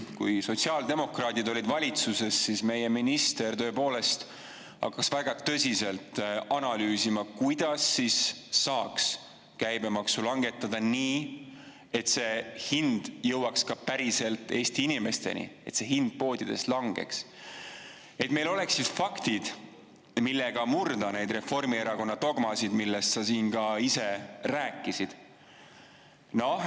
Kui sotsiaaldemokraadid olid valitsuses, siis meie minister tõepoolest hakkas väga tõsiselt analüüsima, kuidas saaks käibemaksu langetada, nii et see hind jõuaks ka päriselt Eesti inimesteni, et see hind poodides langeks, et meil oleks faktid, millega murda neid Reformierakonna dogmasid, millest sa siin ka ise rääkisid.